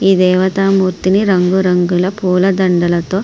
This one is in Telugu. ఈ దేవతా మూర్తిని రంగురంగుల పూలదండలతో --